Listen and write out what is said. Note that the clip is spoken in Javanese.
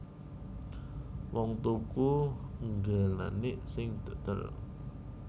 Wong tuku ngglenik sing dodol